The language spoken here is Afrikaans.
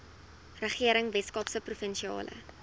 regering weskaapse provinsiale